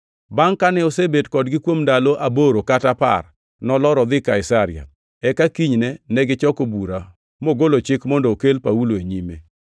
Bangʼ kane osebet kodgi kuom ndalo aboro kata apar, nolor odhi Kaisaria, eka kinyne nochoko bura mogolo chik mondo okel Paulo e nyime.